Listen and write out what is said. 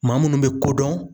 Maa munnu be kodɔn